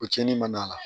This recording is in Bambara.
O tiɲɛni man d'a la